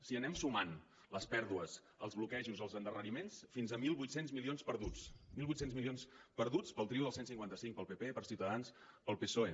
si anem sumant les pèrdues els bloquejos els endarreriments fins a mil vuit cents milions perduts mil vuit cents milions perduts pel trio del cent i cinquanta cinc pel pp per ciutadans pel psoe